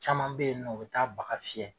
Caman beyinɔ o bɛ taa bagan fiyɛ.